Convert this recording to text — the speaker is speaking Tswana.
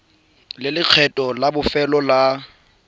le lekgetho la bofelo la